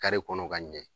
Kare kɔnɔ ka ɲɛ